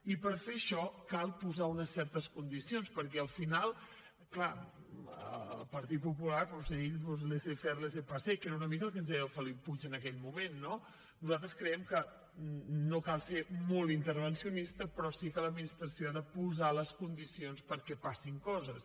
i per fer això cal posar unes certes condicions perquè al final clar el partit popular doncs ell laissez faire laissez passer que era una mica el que ens deia el felip puig en aquell moment no nosaltres creiem que no cal ser molt intervencionista però sí que l’administració ha de posar les condicions perquè passin coses